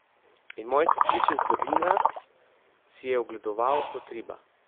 In moji sestrični iz Berlina si je ogledoval kot riba.